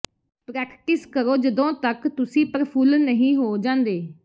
practice ਕਰੋ ਜਦੋਂ ਤੱਕ ਤੁਸੀਂ ਪ੍ਰਫੁੱਲ ਨਹੀਂ ਹੋ ਜਾਂਦੇ